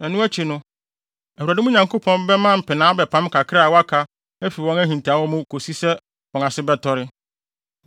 Ɛno akyi no, Awurade, mo Nyankopɔn, bɛma mpenaa abɛpam kakra a wɔaka no afi wɔn ahintawee mu kosi sɛ wɔn ase bɛtɔre.